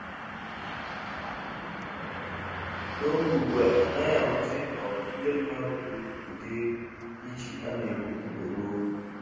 N'oge ugbua, anaghị ahụzị um ndị mmadụ gburu ụdịrị ichi a na-egbu mgbe gboo